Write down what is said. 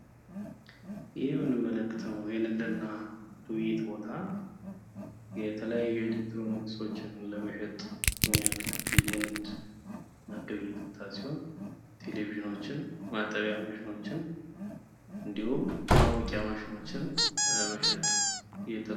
ይህ እምንመለከተው የንግድና ግብይት ቦታ የተለያዩ የኤሌክትሮኒክሶችን ለመሸጥ የሚያከክል የንግድና ግብይት ቦታ ሲሆን ቴሌቪዥኖችን፣ ማጠቢያችን ማሽኖችን እንዲሁም ማሞቂያ ማሽኖችን መሸጥ የት